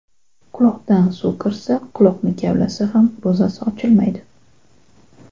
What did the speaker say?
Quloqdan suv kirsa, quloqni kavlasa ham ro‘zasi ochilmaydi.